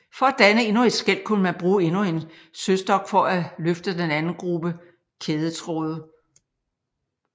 For at danne endnu et skel kunne man bruge endnu en sølstok for at løfte den anden gruppe kædetråde